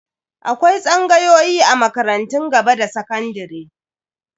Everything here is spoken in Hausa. Akwai tsangayoyi a makarantun gaba da sakandare.